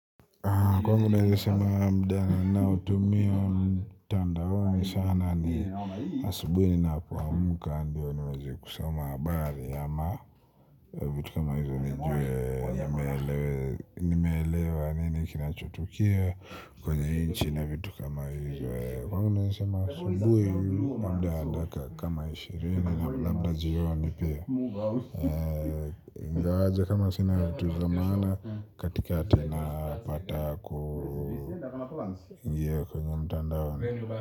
Kwangu naweza sema muda ninaotumio mtandaonisana ni asubuhi ninapoamka ndio niweze kusama habari ama vitu kama hizo nijue nimeelewa nini kinachotukia kwenye nchi na vitu kama hizo. Kwangu nawezasema asubuhi muda kama wa dakika kama ishirini na labda jioni pia ingawaaje kama sina vitu za maana katika ati na pata kuingia kwenye mtandao.